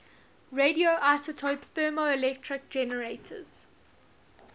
radioisotope thermoelectric generators